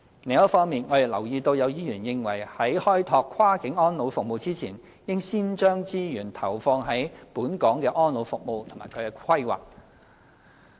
另一方面，我們留意到有議員認為在開拓跨境安老服務前，應先將資源投放在本港的安老服務及其規劃。